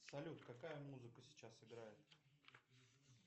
салют какая музыка сейчас играет